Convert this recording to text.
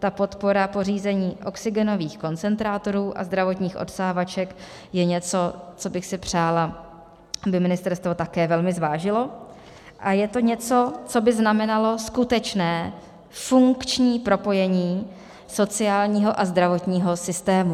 Ta podpora pořízení oxygenových koncentrátorů a zdravotních odsávaček je něco, co bych si přála, aby ministerstvo také velmi zvážilo, a je to něco, co by znamenalo skutečné funkční propojení sociálního a zdravotního systému.